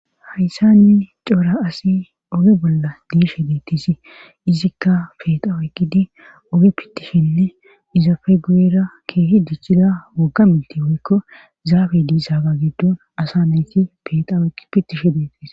hayssanni coora asi oge bolla diishe deettisi izikka peexawo eqqidi oge pittishenne izafe guyera keehi dichchida wogaminti wuikko zaabe diisaaga giddon asa nayti pexawoeqqi pittishe deettis